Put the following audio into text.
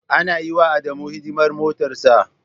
Ana yiwa Adamu hidimar motarsa.